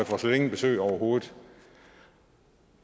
får slet ingen besøg overhovedet